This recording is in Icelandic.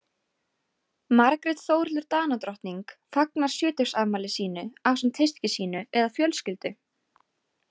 Margrét Þórhildur Danadrottning fagnar sjötugsafmæli sínu ásamt hyski sínu eða fjölskyldu.